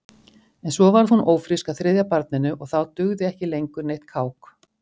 En svo varð hún ófrísk að þriðja barninu og þá dugði ekki lengur neitt kák.